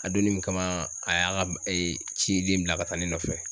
A donnin min kama a y'a ga b e ciden bila ka taa ne nɔfɛ